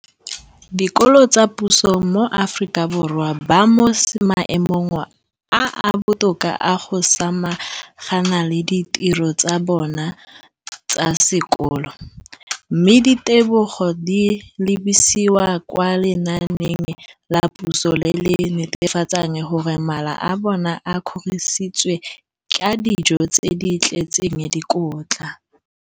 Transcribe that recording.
dikolo tsa puso mo Aforika Borwa ba mo maemong a a botoka a go ka samagana le ditiro tsa bona tsa sekolo, mme ditebogo di lebisiwa kwa lenaaneng la puso le le netefatsang gore mala a bona a kgorisitswe ka dijo tse di tletseng dikotla.